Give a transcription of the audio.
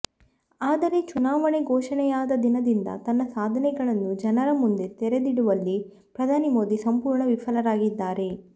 ಆದರೆ ಚುನಾವಣೆ ಘೋಷಣೆಯಾದ ದಿನದಿಂದ ತನ್ನ ಸಾಧನೆಗಳನ್ನು ಜನರ ಮುಂದೆ ತೆರೆದಿಡುವಲ್ಲಿ ಪ್ರಧಾನಿ ಮೋದಿ ಸಂಪೂರ್ಣ ವಿಫಲರಾಗಿದ್ದಾರೆ